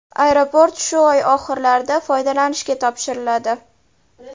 Aeroport shu oy oxirlarida foydalanishga topshiriladi.